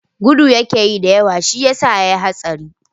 Gudu yakeyi da yawa shiyasa yayi hatsarin.